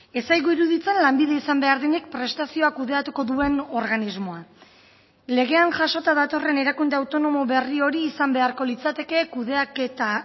ez zaigu iruditzen lanbide izan behar denik prestazioa kudeatuko duen organismoa legean jasota datorren erakunde autonomo berri hori izan beharko litzateke kudeaketa